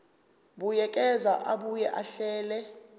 buyekeza abuye ahlele